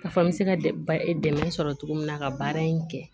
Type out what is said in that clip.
K'a fɔ n bɛ se ka dɛmɛ sɔrɔ cogo min na ka baara in kɛ